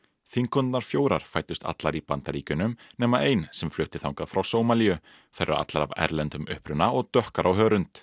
þingkonurnar fjórar fæddust allar í Bandaríkjunum nema ein sem flutti þangað frá Sómalíu þær eru allar af erlendum uppruna og dökkar á hörund